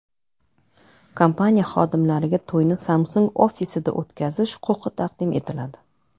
Kompaniya xodimlariga to‘yni Samsung ofisida o‘tkazish huquqi taqdim etiladi.